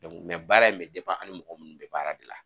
baara in min an' ni mɔgɔ munnu bɛ baara de la.